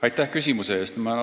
Aitäh küsimuse eest!